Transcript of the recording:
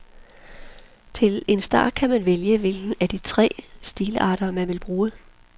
Til en start kan man vælge hvilken af de tre stilarter, man vil bruge.